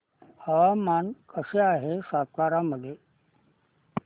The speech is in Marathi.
हवामान कसे आहे सातारा मध्ये